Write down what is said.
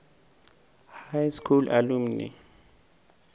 high school alumni